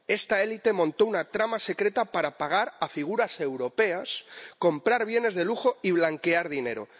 Esta élite montó una trama secreta para pagar a figuras europeas, comprar bienes de lujo y blanquear dinero.